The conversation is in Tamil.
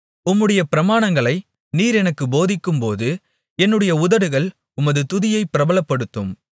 உம்முடைய பிரமாணங்களை நீர் எனக்குப் போதிக்கும்போது என்னுடைய உதடுகள் உமது துதியைப் பிரபலப்படுத்தும்